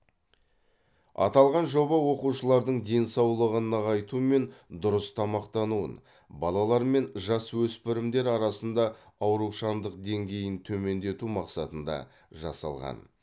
аталған жоба оқушылардың денсаулығын нығайту мен дұрыс тамақтануын балалар мен жасөспірімдер арасында аурушаңдық деңгейін төмендету мақсатында жасалған